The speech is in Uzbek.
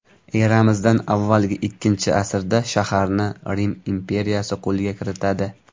Eramizdan avvalgi ikkinchi asrda shaharni Rim imperiyasi qo‘lga kiritadi.